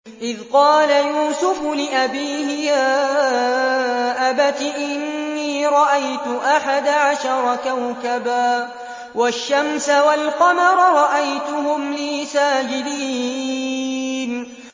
إِذْ قَالَ يُوسُفُ لِأَبِيهِ يَا أَبَتِ إِنِّي رَأَيْتُ أَحَدَ عَشَرَ كَوْكَبًا وَالشَّمْسَ وَالْقَمَرَ رَأَيْتُهُمْ لِي سَاجِدِينَ